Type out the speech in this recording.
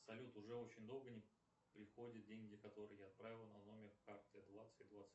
салют уже очень долго не приходят деньги которые я отправил на номер карты двадцать двадцать